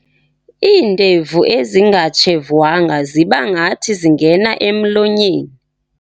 Iindevu ezingatshevwayo ziba ngathi zingena emlonyeni.